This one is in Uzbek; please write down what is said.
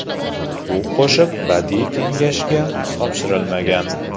Bu qo‘shiq Badiiy kengashga topshirilmagan.